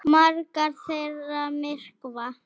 Margar þeirra myrkva.